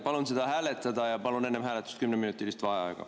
Palun seda hääletada ja palun enne hääletust 10‑minutilist vaheaega.